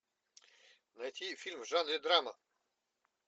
найти фильм в жанре драма